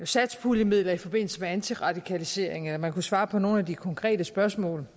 satspuljemidler i forbindelse med antiradikalisering eller man kunne svare på nogle af de konkrete spørgsmål